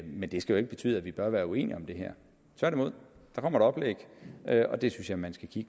men det skal jo ikke betyde at vi bør være uenige om det her tværtimod der kommer et oplæg og det synes jeg man skal se